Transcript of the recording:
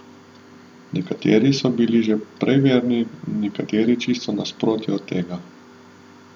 Nekateri so bili že prej verni, nekateri čisto nasprotje od tega.